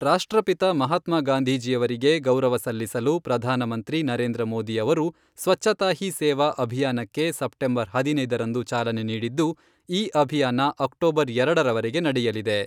ರಾಷ್ಟ್ರಪಿತ ಮಹಾತ್ಮ ಗಾಂಧಿಜೀಯವರಿಗೆ ಗೌರವ ಸಲ್ಲಿಸಲು ಪ್ರಧಾನಮಂತ್ರಿ ನರೇಂದ್ರ ಮೋದಿ ಅವರು, ಸ್ವಚ್ಛತಾ ಹೀ ಸೇವಾ ಅಭಿಯಾನಕ್ಕೆ ಸೆಪ್ಟೆಂಬರ್ ಹದಿನೈದರಂದು ಚಾಲನೆ ನೀಡಿದ್ದು, ಈ ಅಭಿಯಾನ ಅಕ್ಟೋಬರ್ ಎರಡರವರೆಗೆ ನಡೆಯಲಿದೆ.